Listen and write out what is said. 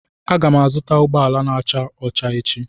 Aga m azụta ụgbọala n'acha ọcha echi